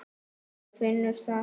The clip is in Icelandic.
Hún finnur það.